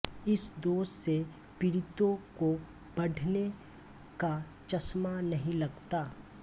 इस दोष से पीड़ितों को पढ़ने का चश्मा नहीं लगता